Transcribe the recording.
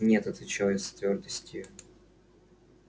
нет отвечал я с твёрдостию